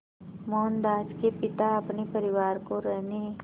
मोहनदास के पिता अपने परिवार को रहने